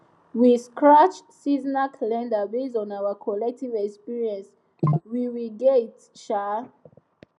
we sketch seasonal calendar based on our collective experience we we get um